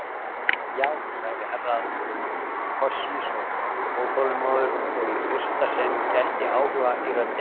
Já, sagði Herra Toshizo óþolinmóður og í fyrsta sinn gætti áhuga í röddinni.